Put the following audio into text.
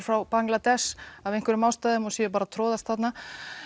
frá Bangladesh af einhverjum ástæðum og séu bara að troðast þarna